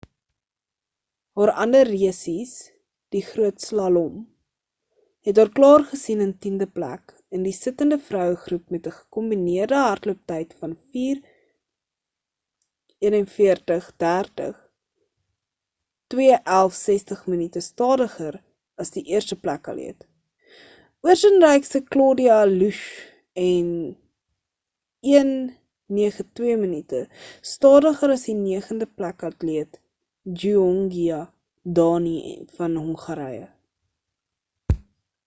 haar ander resies die groot slalom het haar klaargesien in tiende plek in die sittende vroue groep met ‘n gekombineerde hardlooptyd van 4:41.30 2:11:60 minute stadiger as die eerste plek atleet oostenrykse claudia loesch en 1:09:02 minute stadiger as die negende plek atleet gyöngyi dani van hongarye